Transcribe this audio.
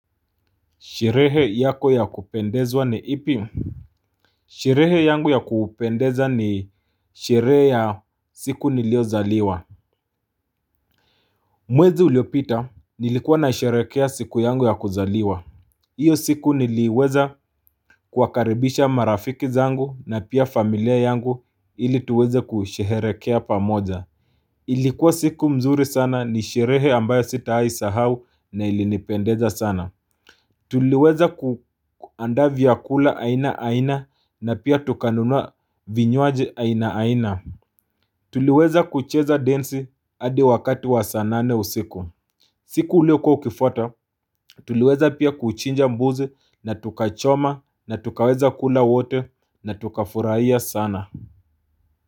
Sherehe yako ya kupendezwa ni ipi? Sherehe yangu ya kupendeza ni sherehe ya siku niliyozaliwa Mwezi uliopita nilikuwa nasherehekea siku yangu ya kuzaliwa hiyo siku niliweza kuwakaribisha marafiki zangu na pia familia yangu ili tuweze kusherehekea pamoja Ilikuwa siku nzuri sana ni sherehe ambayo sitawahi sahau na ili nipendeza sana Tuliweza kuandaa vyakula aina aina na pia tukanunua vinywaji aina aina Tuliweza kucheza densi hadi wakati wa saa nane usiku siku iliyokuwa ikifuata, tuliweza pia kuchinja mbuzi na tukachoma na tukaweza kula wote na tukafurahia sana.